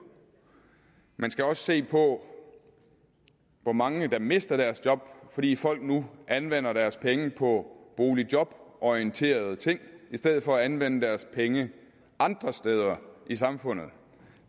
man skal også se på hvor mange der mister deres job fordi folk nu anvender deres penge på boligjoborienterede ting i stedet for at anvende deres penge andre steder i samfundet